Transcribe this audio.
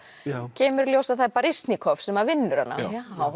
kemur í ljós að það er sem að vinnur hana já